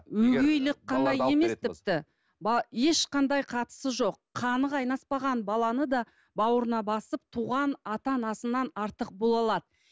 өгейлік қана емес тіпті ешқандай қатысы жоқ қаны қайнаспаған баланы да бауырына басып туған ата анасынан артық бола алады